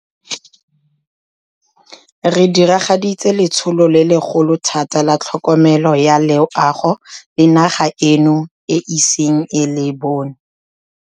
Re diragaditse letsholo le legolo thata la tlhokomelo ya loago le naga eno e iseng e le bone.